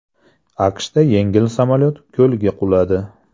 AQShda yengil samolyot ko‘lga quladi.